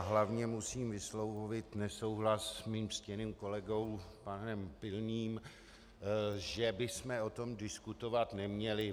A hlavně musím vyslovit nesouhlas s mým ctěným kolegou panem Pilným, že bychom o tom diskutovat neměli.